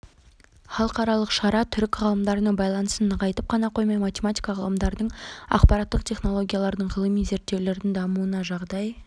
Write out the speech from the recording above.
халықаралық шара түрік ғалымдарының байланысын нығайтып қана қоймай математика ғылымдарының ақпараттық технологиялардың ғылыми зерттеулердің дамуына жағдай